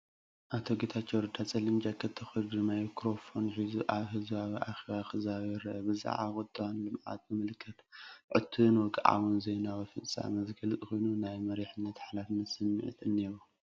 ኣቶ ጌታቸው ረዳ ጸሊም ጃኬት ተኸዲኑ፡ ማይክሮፎን ሒዙ፡ ኣብ ህዝባዊ ኣኼባ ክዛረብ ይርአ። ብዛዕባ ቁጠባን ልምዓትን ዝምልከት ዕቱብን ወግዓውን ዜናዊ ፍጻመ ዝገልጽ ኮይኑ፡ ናይ መሪሕነትን ሓላፍነትን ስምዒት እኒሄዎ፡፡